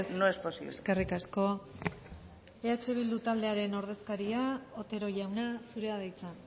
no es posible eskerrik asko eh bildu taldearen ordezkaria otero jauna zurea da hitza